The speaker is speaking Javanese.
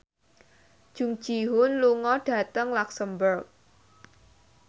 Jung Ji Hoon lunga dhateng luxemburg